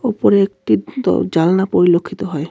উপরে একটি দর-জানলা পরিলক্ষিত হয়.